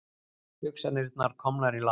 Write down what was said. Hugsanirnar komnar í lag.